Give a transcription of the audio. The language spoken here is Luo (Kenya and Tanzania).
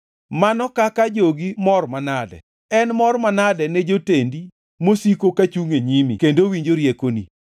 Mano kaka jogi mor manade! En mor manade ne jotendi mosiko kachungʼ e nyimi kendo winjo riekoni!